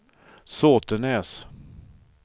Såtenäs